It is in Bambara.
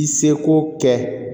I seko kɛ